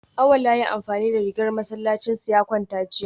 Awal ya yi amfani da ragar masallacinsa ya kwanta jiya